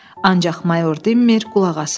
Ancaq mayor dinmir, qulaq asırdı.